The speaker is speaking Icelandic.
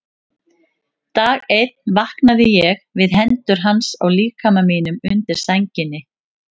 Dag einn vaknaði ég við hendur hans á líkama mínum undir sænginni.